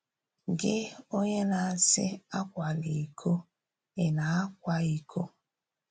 “Gị, onye na-asì ‘Ákwàlà íkò,’ ị̀ na-àkwà íkò?”